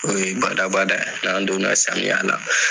O kɔni ye badabada n'an donna samiya la.